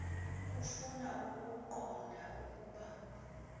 bafuna ukuqonda ukuba